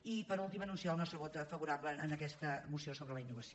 i per últim anunciar el nostre vot favorable a aquesta moció sobre la innovació